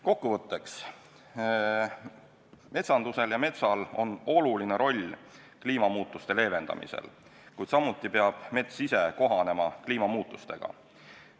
Kokkuvõtteks, metsandusel ja metsal on oluline roll kliimamuutuste leevendamisel, kuid samuti peab mets ise kohanema kliimamuutustega.